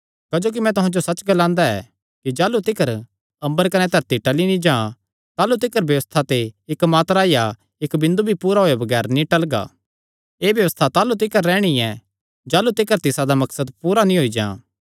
क्जोकि मैं तुहां जो सच्च ग्लांदा ऐ कि जाह़लू तिकर अम्बर कने धरती टल़ी नीं जां ताह़लू तिकर व्यबस्था ते इक्क मात्रा या इक्क बिंदु भी पूरा होये बगैर नीं टलगा एह़ व्यबस्था ताह़लू तिकर रैहणी ऐ जाह़लू तिकर तिसादा मकसद पूरा नीं होई जां